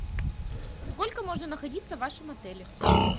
сколько можно находиться в вашем отеле